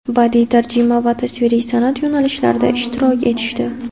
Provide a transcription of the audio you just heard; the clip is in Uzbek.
badiy tarjima va tasviriy san’at yo‘nalishlararida ishtirok etishdi.